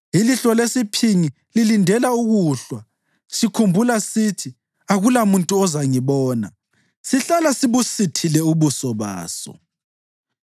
Ilihlo lesiphingi lilindela ukuhlwa; sikhumbula sithi, ‘Akulamuntu ozangibona,’ sihlala sibusithile ubuso baso.